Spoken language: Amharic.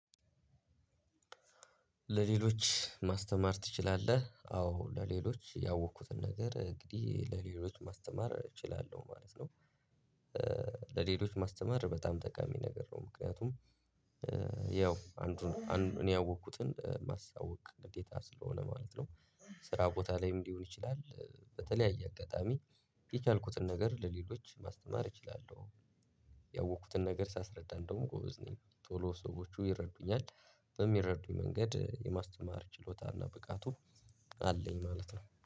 ለሌሎች ማስተማር ትችላለህ? አዎ ለሌሎች ያወቅኩትን ነገር እንግዲህ ለሌሎች ማስተማር እችላለሁ ማለት ነው። ለሌሎች ማስተማር በጣም ጠቃሚ ነገር ነው ምክንያቱም ያው አንዱን እኔ ያወቅኩትን ማሳወቅ ልዴታ ስለሆነ ማለት ነው። ስራ ቦታ ላይም ሊሆን ይችላል በተለያየ አጋጣሚ። የቻልኩትን ነገር ለሌሎች ማስተማር እችላለሁ። ያወቅኩትን ነገር ሳስረዳ እንደውም ጎበዝ ነኝ ቶሎ ሰዎቹ ይረዱኛል። በሚረዱኝ መንገድ የማስተማር ችሎታና ብቃቱ አለኝ ማለት ነው